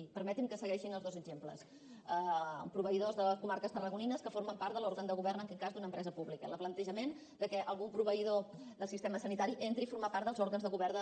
i permeti’m que segueixi amb els dos exemples proveïdors de les comarques tarragonines que formen part de l’òrgan de govern en aquest cas d’una empresa pública el plantejament que algun proveïdor del sistema sanitari entri a formar part dels òrgans de govern